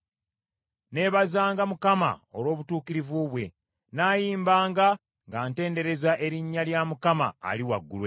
Nneebazanga Mukama olw’obutuukirivu bwe; nnaayimbanga nga ntendereza erinnya lya Mukama Ali Waggulu Ennyo.